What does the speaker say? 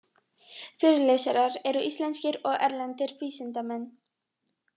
Fyrirlesarar eru íslenskir og erlendir vísindamenn